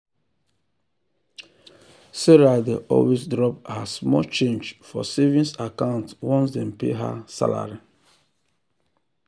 sarah dey always drop her small change for savings account once dem pay um her salary.